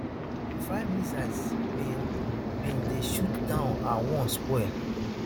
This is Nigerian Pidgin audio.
five missiles bin bin dey shot down and one spoil